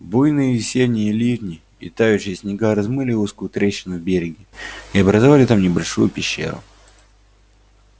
буйные весенние ливни и тающие снега размыли узкую трещину в береге и образовали там небольшую пещеру